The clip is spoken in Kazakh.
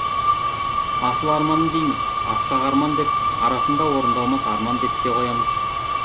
асыл арман дейміз асқақ арман деп арасында орындалмас арман деп те қоямыз